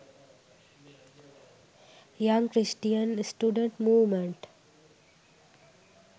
young christian students movement